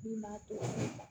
Min b'a to